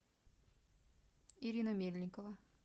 ирина мельникова